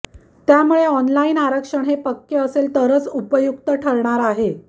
त्यामुळे ऑनलाईन आरक्षण हे पक्के असेल तरच उपयुक्त ठरणार आहे